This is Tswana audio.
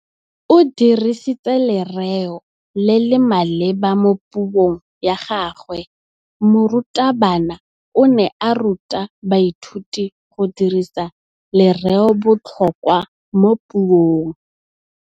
O dirisitse lerêo le le maleba mo puông ya gagwe. Morutabana o ne a ruta baithuti go dirisa lêrêôbotlhôkwa mo puong.